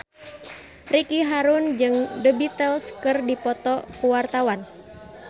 Ricky Harun jeung The Beatles keur dipoto ku wartawan